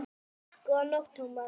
Góða nótt, Thomas